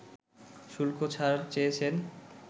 শুল্কছাড় চেয়েছেন